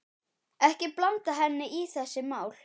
Ekki blanda henni í þessi mál.